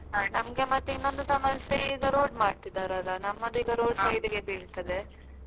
ಮತ್ತೆ ಇನ್ನೊಂದು ಸಮಸ್ಯೆ ಈಗ road ಮಾಡ್ತಿದ್ದಾರಲ. ನಮ್ಮದು ಈಗ road ಬೀಳ್ತದೆ.